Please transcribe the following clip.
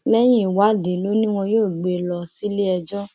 lẹyìn ìwádìí lọ ni wọn yóò gbé e lọ síléẹjọ